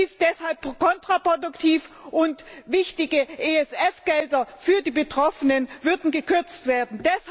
Das ist deshalb kontraproduktiv, und wichtige ESF Gelder für die Betroffenen würden gekürzt werden.